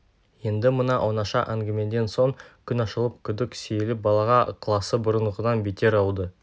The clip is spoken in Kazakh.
енді мына оңаша әңгімеден соң күн ашылып күдік сейіліп балаға ықыласы бұрынғыдан бетер ауды